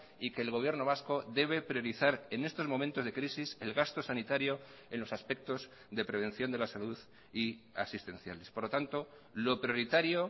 y que el gobierno vasco debe priorizar en estos momentos de crisis el gasto sanitario en los aspectos de prevención de la salud y asistenciales por lo tanto lo prioritario